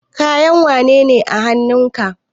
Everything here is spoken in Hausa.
Kayan wane ne a hanun ka?